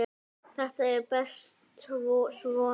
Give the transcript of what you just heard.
Þetta er best svona.